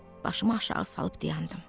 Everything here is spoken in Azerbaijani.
Başımı aşağı salıb dayandım.